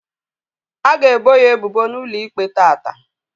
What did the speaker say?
A ga ebo ya ebubo n'ụlọ ikpe taata